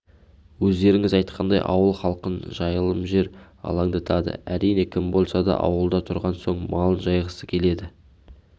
өздеріңіз айтқандай ауыл халқын жайылымжер алаңдатады әрине кім болса да ауылда тұрған соң малын жайғысы келеді